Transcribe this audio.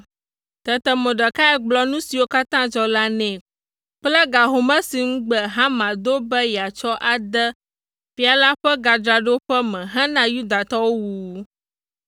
Tete Mordekai gblɔ nu siwo katã dzɔ la nɛ kple ga home si ŋugbe Haman do be yeatsɔ ade fia la ƒe gadzraɖoƒe me hena Yudatɔwo wuwu.